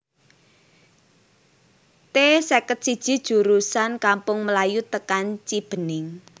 T seket siji jurusan Kampung Melayu tekan Cibening